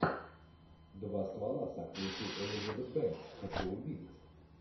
два ствола с актрисой элизабет бэнкс хочу увидеть